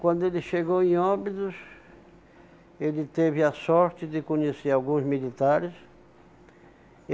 Quando ele chegou em Óbidos, ele teve a sorte de conhecer alguns militares.